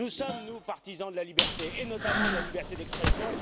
Nous sommes, nous, partisans de la liberté, et notamment la liberté d'expression.